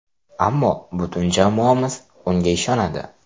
Ammo butun jamoamiz unga ishonadi.